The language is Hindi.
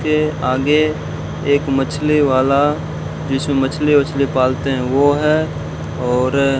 के आगे एक मछली वाला जिसमें मछली वछली पालते हैं वो है और --